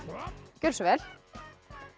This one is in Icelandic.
gjörðu svo vel